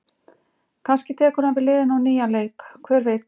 Kannski tekur hann við liðinu á nýjan leik, hver veit?